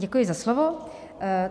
Děkuji za slovo.